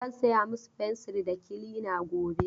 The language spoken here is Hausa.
Zan saya musu fensir da kilina gobe.